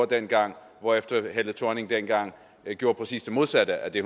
dengang hvorefter helle thorning schmidt dengang gjorde præcis det modsatte af det